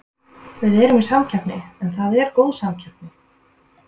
Við erum í samkeppni en það er góð samkeppni.